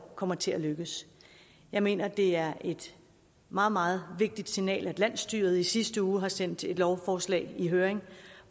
kommer til at lykkes jeg mener at det er et meget meget vigtigt signal at landsstyret i sidste uge sendte et lovforslag i høring